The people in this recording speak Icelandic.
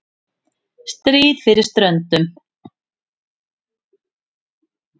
STRÍÐ FYRIR STRÖNDUM